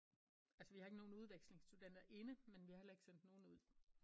Altså vi har ikke nogen udvekslingsstuderende inde men vi har heller ikke sendt nogen ud